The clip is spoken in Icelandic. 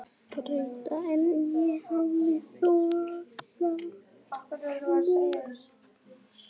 Betra en ég hafði þorað að vona